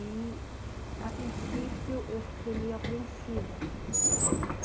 E, a princípio, eu fiquei meio apreensiva.